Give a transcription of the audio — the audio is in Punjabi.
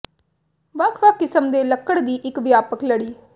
ਵੱਖ ਵੱਖ ਕਿਸਮ ਦੇ ਲੱਕੜ ਦੀ ਇੱਕ ਵਿਆਪਕ ਲੜੀ